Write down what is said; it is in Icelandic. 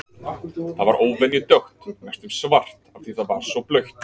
Það var óvenju dökkt, næstum svart, af því að það var svo blautt.